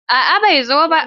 A'a, bai zo ba.